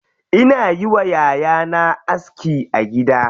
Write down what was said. Ina yi wa yayana aski a gida.